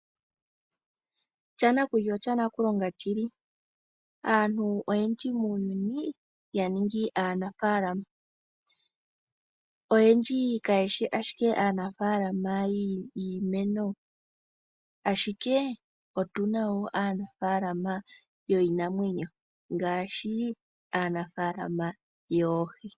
Shanakulya osha nakulonga shili aantu oyendji muuyuni ya ningi aanafalama. Oyendji kayeshi ashike aanafalama yiimeno ashike otuna wo naanafalama yoohi.